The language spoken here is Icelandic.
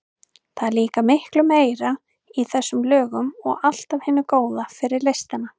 Það er líka miklu meira í þessum lögum og allt af hinu góða fyrir listina.